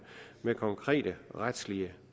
med konkrete retslige